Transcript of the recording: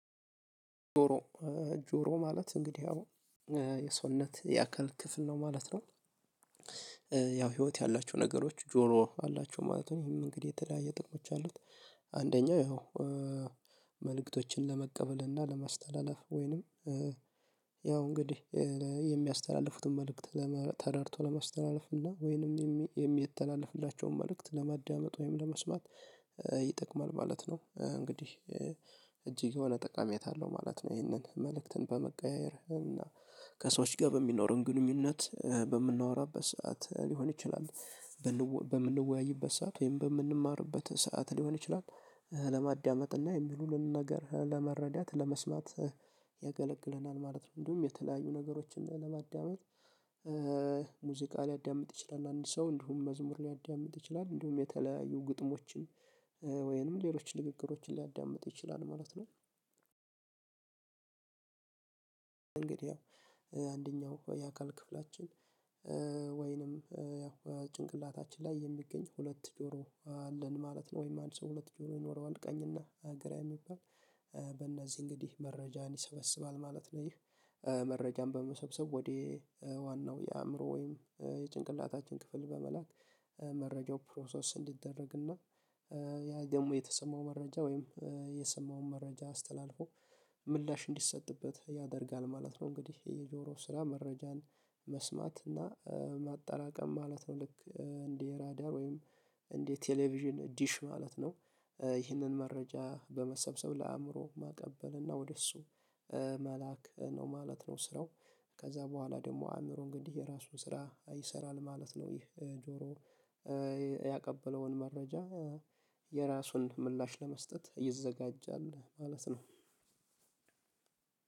ጆሮ ጆሮ ማለት እንግዲህ የሰውነት የአካል ክፍል ነው ማለት ነው። ያው ህይወት ያላቸው ነገሮች ጆሮ አላቸው ማለት ነው ይሄም እንግዲህ የተለያየ ጥቅሞች አሉት። አንደኛው ያው መልእክቶችን ለመቀበል እና ለማስተላለፍ ወይንም ያው እንግዲህ የሚያስተላልፉትን መልእክት ተረድቶ ለማስተላለፍ እና ወይንም የሚያስተላልፍላቸውን መልእክት ለማዳመጥ ወይም ለመስማት ይጠቅማል ማለት ነው እንግዲህ እጅግ የሆነ ጠቃሚያት አለው ማለት ነው ይህንን መልእክትን በመቀያየር እና ከሰዎች ጋር በሚኖረን ግንኙነት በምናወራበት ሰዓት ሊሆን ይችላል። በምንወያይበት ሰዓት ወይም በምንማርበት ሰዓት ሊሆን ይችላል። ለማዳመጥ እና የሚሉልን ነገር ለመረዳት ለመስማት ያገለግለናል ማለት ነው። እንዲሁም የተለያዩ ነገሮችን ለማዳመጥ ሙዚቃ ሊያዳምጥ ይችላል አንድ ሰው እንዲሁም መዝሙር ሊያዳምጥ ይችላል እንዲሁም የተለያዩ ግጥሞችን ወይንም ሌሎች ንግግሮችን ሊያዳምጥ ይችላል ማለት ነው። እንግዲያው አንደኛው የአካል ክፍላችን ወይንም ያው ጭንቅላታችን ላይ የሚገኝ ሁለት ጆሮ አለን ማለት ነው። ወይም አንድ ሰው ሁለት ጆሮ ይኖረዋል ቀኝ እና ሀገራዊ የሚባል በእነዚህ እንግዲህ መረጃን ይሰበስባል ማለት ነው። ይህ መረጃን በመሰብሰብ ወደ ዋናው የአእምሮ ወይም የጭንቅላታችን ክፍል በመላክ መረጃው ፕሮሰስ እንዲደረግና እና ያ ደግሞ የተሰማው መረጃ ወይም የሰማውን መረጃ አስተላልፎ ምላሽ እንዲሰጥበት ያደርጋል ማለት ነው። እንግዲህ የጆሮ ስራ መረጃን መስማት እና ማጣላቀም ማለት ነው። ልክ እንዲህ ራዳር ወይም እንዲህ ቴሌቪዥን ዲሽ ማለት ነው። ይህንን መረጃ በመሰብሰብ ለአእምሮ ማቀበል እና ወደ እሱ መላክ ነው ማለት ነው። ስራው ከዛ በኋላ ደግሞ አእምሮን እንግዲህ የራሱን ስራ ይሰራል ማለት ነው። ይህ ጆሮ ያቀበለውን መረጃ የራሱን ምላሽ ለመስጠት ይዘጋጃል ማለት ነው።